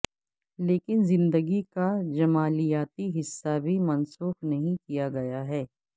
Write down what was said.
لیکن زندگی کا جمالیاتی حصہ بھی منسوخ نہیں کیا گیا ہے